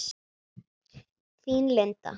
Þín, Linda.